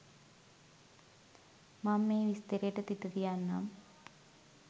මං මේ විස්තරේට තිත තියන්නම්